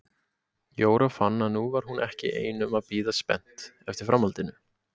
Jóra fann að nú var hún ekki ein um að bíða spennt eftir framhaldinu.